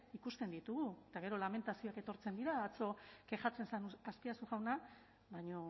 ikusten ditugu eta gero lamentazioak etortzen dira atzo kexatzen zen azpiazu jauna baina